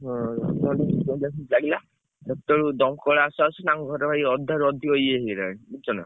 ହୁଁ ଅଧଘଣ୍ଟା ପଈଚାଳିଶ minute ଖଣ୍ଡ ଲାଗିଲା ବେଳକୁ ଦମକଳ ଆସୁ ଆସୁ ତାଙ୍କ ଘର ଭାଇ ଅଧାରୁ ଅଧିକ ଇଏ ହେଇଗଲାଣି ବୁଝୁଛନା।